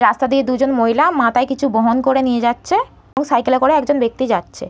রাস্তা দিয়ে দুজন মহিলা মাতায় কিছু বহন করে নিয়ে যাচ্ছে এবং সাইকেল একজন ব্যাক্তি যাচ্ছে।